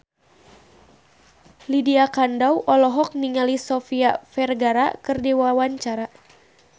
Lydia Kandou olohok ningali Sofia Vergara keur diwawancara